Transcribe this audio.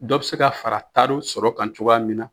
Dɔw bɛ se ka fara taariw sɔrɔ kan cogoya min na.